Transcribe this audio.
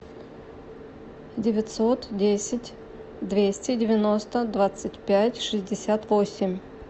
девятьсот десять двести девяносто двадцать пять шестьдесят восемь